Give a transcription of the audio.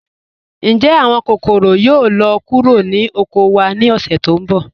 Ǹjẹ́ awọn kòkọ̀rò yóò lọ kúrò ni oko wa ni ọ̀ṣẹ̀ tí nbọ̀?